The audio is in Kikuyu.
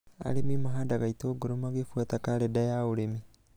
Arĩmi mahandaga itũngũrũ magĩbuata karenda ya ũrĩmi